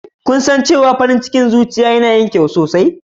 Shin, kun san cewa farin cikin zuciya yana yin kyau sosai?